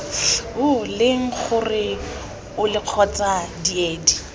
leng gore ole kgotsa diedi